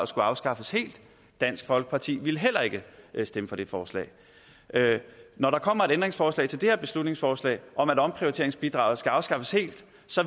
skulle afskaffes helt dansk folkeparti ville heller ikke stemme for det forslag når der kommer et ændringsforslag til det her beslutningsforslag om at omprioriteringsbidraget skal afskaffes helt